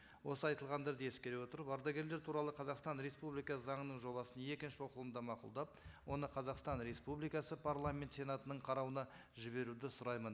осы айтылғандарды ескере отырып ардагерлер туралы қазақстан республикасы заңының жобасын екінші оқылымда мақұлдап оны қазақстан республикасы парламент сенатының қарауына жіберуді сұраймын